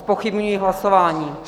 Zpochybňuji hlasování.